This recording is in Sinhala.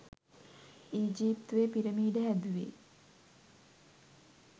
ඊජිප්තුවෙ පිරමිඩ හැදුවෙ